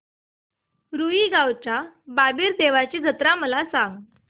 रुई गावच्या बाबीर देवाची जत्रा मला सांग